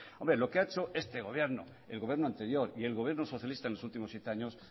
hombre lo que ha hecho este gobierno el gobierno anterior y el gobierno socialista en los últimos siete años